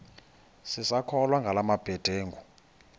sisakholwa ngala mabedengu